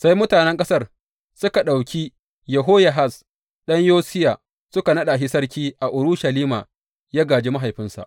Sai mutanen ƙasar suka ɗauki Yehoyahaz ɗan Yosiya suka naɗa shi sarki a Urushalima yă gāji mahaifinsa.